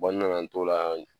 n nana n t'o la